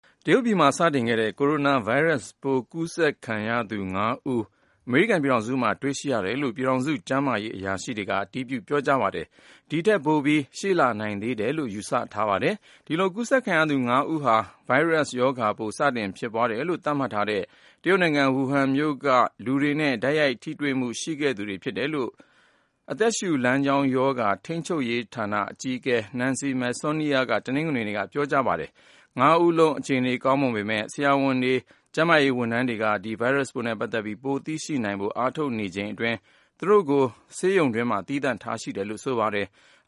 တရုတ်ပြည်မှာ စတင်ခဲ့တဲ့ Corona ဗိုင်းရပ်စ်ပိုး ကူးစက်ခံရသူ ၅ ဦး အမေရိကန်ပြည်ထောင်စုမှာ တွေ့ရှိရတယ်လို့ ပြည်ထောင်စုကျန်းမာရေး အရာရှိတွေက အတည်ပြု ပြောကြားလိုက်ပါတယ်။ ဒီထက်ပိုပြီး ရှိလာနိုင်သေးတယ်လို့ ယူဆထားပါတယ်။ ဒီလို ကူးစက်ခံရသူ ၅ ဦးလုံးဟာ ဒီဗိုင်းရပ်စ်ရောဂါပိုး စတင်ဖြစ်ပွားတယ်လို့ သတ်မှတ်ထားတဲ့ တရုတ်နိုင်ငံ ဝူဟမ်မြို့ကလူတွေနဲ့ တိုက်ရိုက် ထိတွေ့မှု ရှိခဲ့သူတွေ ဖြစ်တယ်လို့ အသက်ရှူလမ်းကြောင်းရောဂါ ထိန်းချုပ်ရေးဌာန အကြီးအကဲ Nancy Messonnier က တနင်္ဂနွေနေ့က ပြောကြားလိုက်တာပါ။ ၅ ဦးလုံး အခြေအနေ ကောင်းမွန်ပေမယ့် ဆရာဝန်တွေ ကျန်းမာရေးဝန်ထမ်းတွေက ဒီဗိုင်းရပ်စ်ပိုးနဲ့ ပတ်သက်ပြီး ပိုမိုသိရှိနိုင်ဖို့ အားထုတ်နေချိန်အတွင်း သူတို့ကို ဆေးရုံတွင်းမှာ သီးသန့်ထားရှိတယ်လို့ ဆိုပါတယ်။